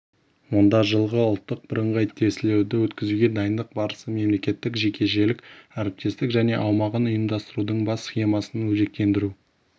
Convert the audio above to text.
онда жылғы ұлттық бірыңғай тестілеуді өткізуге дайындық барысы мемлекеттік-жекешелік әріптестік және аумағын ұйымдастырудың бас схемасын өзектендіру